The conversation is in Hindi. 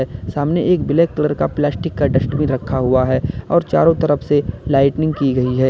सामने एक ब्लैक कलर का प्लास्टिक का डस्टबिन रखा हुआ है और चारों तरफ से लाइटिंग की गई है।